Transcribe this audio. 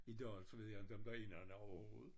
I dag så ved jeg inte om der er nogen overhovedet